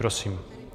Prosím.